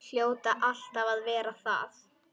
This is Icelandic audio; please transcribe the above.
Hljóta alltaf að verða það.